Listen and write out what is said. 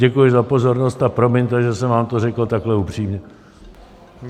Děkuji za pozornost a promiňte, že jsem vám to řekl takhle upřímně.